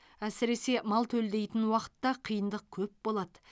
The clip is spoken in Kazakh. әсіресе мал төлдейтін уақытта қиындық көп болады